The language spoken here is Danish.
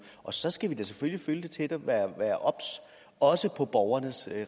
og så skal vi da selvfølgelig følge det tæt og være obs også på borgernes